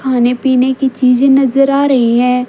खाने पीने की चीजे नजर आ रही हैं।